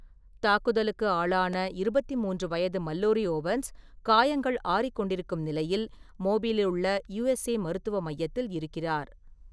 தாக்குதலுக்கு ஆளான 23 வயது மல்லோரி ஓவன்ஸ், காயங்கள் ஆறிக்கொண்டிருக்கும் நிலையில் மோபிலிலுள்ள யூஎஸ்ஏ மருத்துவ மையத்தில் இருக்கிறார்.